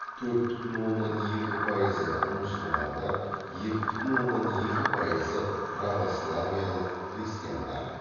төрт бүтін оннан екі пайызы мұсылмандар екі бүтін оннан екі пайызы православиялық християндар